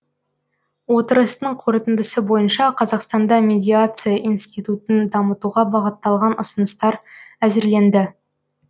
отырыстың қорытындысы бойынша қазақстанда медиация институтын дамытуға бағытталған ұсыныстар әзірленді